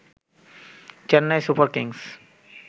Chennai Super Kings